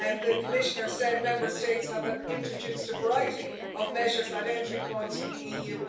The Commissioner said Member States have introduced a variety of measures at entry points to the EU.